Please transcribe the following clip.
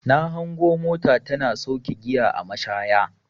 Na hango mota tana sauke giya a mashaya.